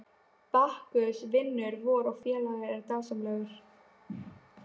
Bakkus vinur vor og félagi er dásamlegur.